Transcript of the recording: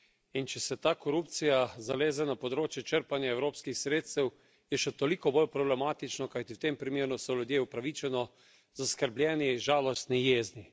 In če se ta korupcija zaleze na področje črpanja evropskih sredstev, je še toliko bolj problematična, kajti v tem primeru so ljudje upravičeno zaskrbljeni, žalostni, jezni.